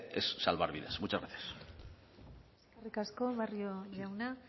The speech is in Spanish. es salvar vidas muchas gracias eskerrik asko barrio jauna